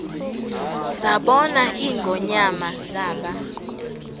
zabona ingonyama zaba